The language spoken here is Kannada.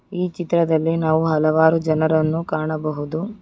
ಈ ಚಿತ್ರದಲ್ಲಿ ನಾವು ಹಲವಾರು ಜನರನ್ನು ಕಾಣಬಹುದು.